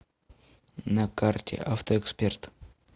на карте авто эксперт